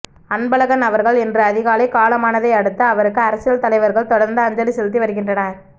அன்பழகன் அவர்கள் இன்று அதிகாலை காலமானதை அடுத்து அவருக்கு அரசியல் தலைவர்கள் தொடர்ந்து அஞ்சலி செலுத்தி வருகின்றனர்